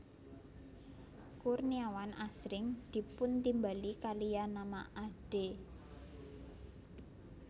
Kurniawan asring dipuntimbali kaliyan nama Ade